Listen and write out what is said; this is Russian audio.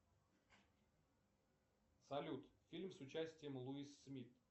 салют фильм с участием луис смит